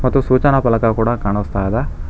ಮತ್ತು ಸೂಚನ ಫಲಕ ಕೂಡ ಕಾಣಸ್ತಾ ಇದೆ.